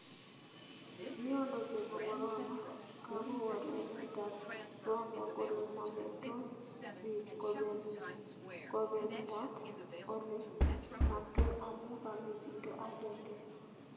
Miondo nebo Corona:Kagowal emet ap Rwanda kole mametoi bik kobenmdat ole maktoi amu kamee chito agenge